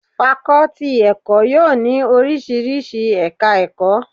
Fakọ́tì ti ẹ̀kọ́ yóò ní oríṣiríṣi ẹ̀ka ẹ̀kọ́.